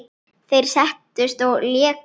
Þeir settust og léku.